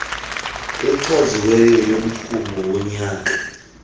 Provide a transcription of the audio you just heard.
echaziweyo yomrhumo wonyaka